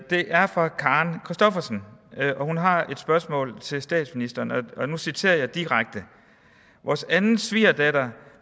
det er fra karen christoffersen hun har et spørgsmål til statsministeren og nu citerer jeg direkte vores anden svigerdatter